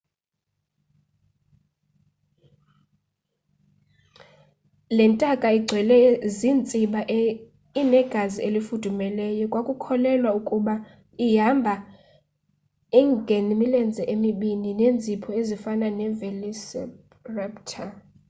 le ntaka igcwele ziintsiba inegazi elifudumeleyo kwakukholelwa ukuba ihamba e ngemilenze emibini neenzipho ezifana nevelociraptor